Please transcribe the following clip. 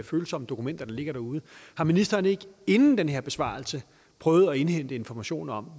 følsomme dokumenter der ligger derude har ministeren ikke inden den her besvarelse prøvet at indhente informationer